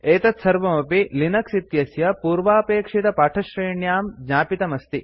एतत्सर्वमपि लिनक्स् इत्यस्य पूर्वापेक्षितपाठश्रेण्यां ज्ञापितमस्ति